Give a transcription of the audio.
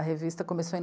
A revista começou em